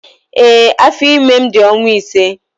Ee, afọ ime m dị ọnwa ise.